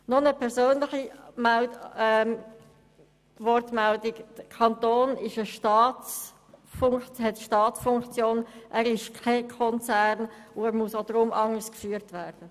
Noch eine persönliche Bemerkung: Der Kanton hat eine Staatsfunktion inne, er ist kein Konzern, und deshalb muss er anders geführt werden.